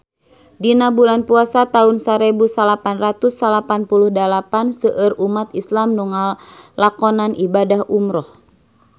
Dina bulan Puasa taun sarebu salapan ratus salapan puluh dalapan seueur umat islam nu ngalakonan ibadah umrah